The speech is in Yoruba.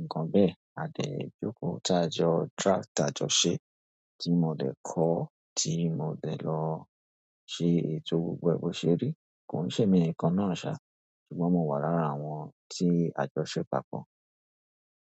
nǹkan bẹ́ẹ̀, a dẹ̀ jókòó tá a jọ draft àjọṣe tí mo dẹ̀ kọ, tí mo dẹ̀ lọ ṣe ètò gbogbo ẹ bó ṣerí. Kò ń ṣe'mí nìkan náà ṣá, ṣùgbọ́n mo wà lára àwọn tí a jọ ṣeé papọ̀